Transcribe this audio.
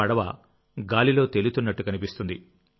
పడవ గాలిలో తేలుతున్నట్టు కనిపిస్తుంది